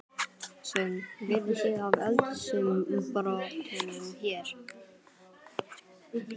Sveinn: Vitið þið af eldsumbrotunum hér?